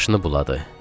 Başını buladı.